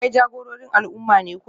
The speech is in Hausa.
Kai jagororin al'umma ne ko?